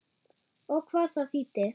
Og hvað það þýddi.